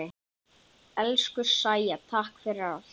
Elsku Sæja, takk fyrir allt.